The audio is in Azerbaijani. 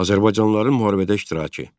Azərbaycanlıların müharibədə iştirakı.